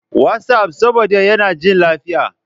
WhatsApp, saboda yana jin lafiya.